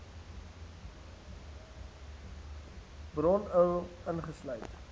bron url ingesluit